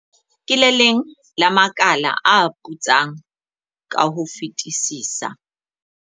"Ke le leng la makala a putsang ka ho fetisisa."